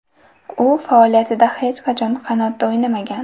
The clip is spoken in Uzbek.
U faoliyatida hech qachon qanotda o‘ynamagan.